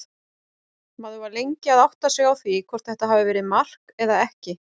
Maður var lengi að átta sig á því hvort þetta hafi verið mark eða ekki.